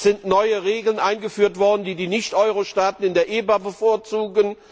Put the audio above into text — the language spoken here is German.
Es sind neue Regeln eingeführt worden, die die Nicht Euro Staaten in der EBA bevorzugen.